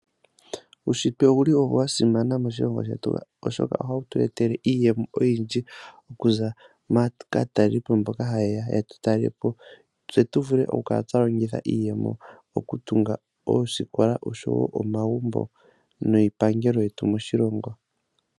Uushitwe owuli wa simana moshilongo shetu oshoka ohawu tu etele iiyemo oyindji okuza kaatalelipo mboka ha yeya yetu talelepo. Tse tu vule oku kala twa longitha iiyemo oku tunga oosikola osho wo omagumbo niipangelo yetu moshilongo.